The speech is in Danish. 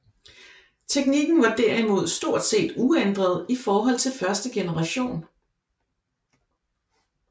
Teknikken var derimod stort set uændret i forhold til første generation